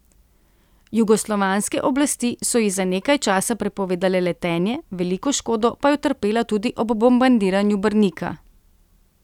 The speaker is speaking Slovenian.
Jugoslovanske oblasti so ji za nekaj časa prepovedale letenje, veliko škodo pa je utrpela tudi ob bombardiranju Brnika.